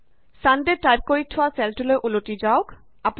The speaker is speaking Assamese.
ছান ডে টাইপ কৰি থোৱা চেলটোলৈ উলতি যাওক